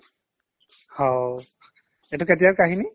হাও এইটো কেতিয়াৰ কাহিনী